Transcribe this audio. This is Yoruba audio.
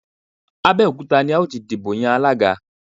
Abẹ́òkúta ni a ó ti dìbò yan Alága